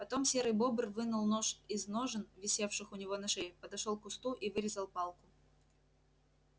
потом серый бобр вынул нож из ножен висевших у него на шее подошёл к кусту и вырезал палку